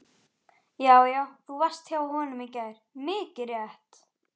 Já, já. þú varst hjá honum í gær, mikið rétt!